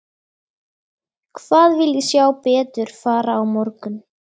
Hvað vil ég sjá betur fara á morgun?